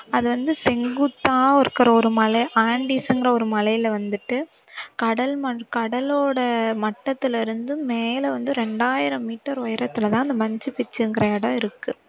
அது வந்து செங்குத்தா இருக்கிற ஒரு மலை ஆண்டிஸ்ங்கிற ஒரு மலையில வந்துட்டு கடல் மண் கடலோட மட்டத்துல இருந்து மேல வந்து இரண்டாயிரம் மீட்டர் உயரத்திலதான் அந்த மச்சு பிச்சுங்கிற இடம் இருக்கு